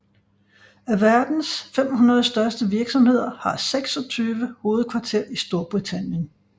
Af verdens 500 største virksomheder har 26 hovedkvarter i Storbritannien